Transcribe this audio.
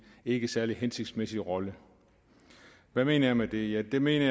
ikke særlig hensigtsmæssig rolle hvad mener jeg med det jeg mener